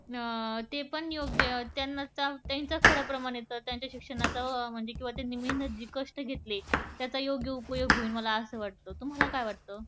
ते पण योग्य त्यांच्या प्रमाणे तर त्यांच्या शिक्षणाचा किंवा त्यांनी जे कष्ट घेतले त्याचा योग्य उपयोग होईल मला असं वाटत तुम्हाला काय वाटत?